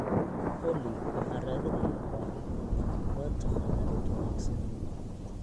olly waxaan raadinayaa bar, waad taqaanaa mid wanaagsan